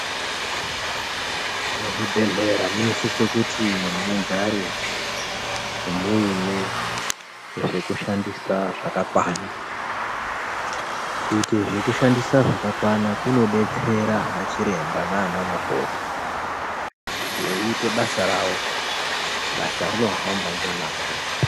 Muzvibhedhleya munosise kuti mugare muine zvekushandisa zvakakwana, kuite zvekushandisa zvakakwana kunodetsere anachiremba nanamukoti kuti eiite basa rawo basa rinohamba ngemwazvo.